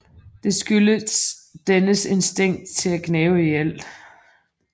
Det skyldes dens instinkt til at gnave i alt